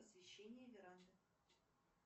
освещение веранды